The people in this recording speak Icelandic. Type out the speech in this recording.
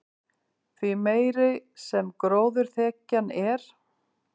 því meiri sem gróðurþekjan er